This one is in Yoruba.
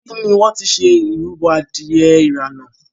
ibí ní wón tí ṣe ìrúbo adìye irana.